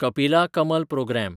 कपिला कलम प्रोग्राम